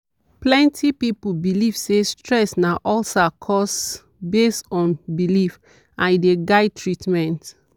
plenty people believe say stress na ulcer cause based on belief and e dey guide treatment.